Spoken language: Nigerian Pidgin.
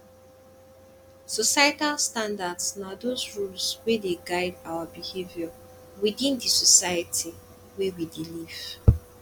societal standards na those rules wey dey guide our behaviour within di society wey we dey live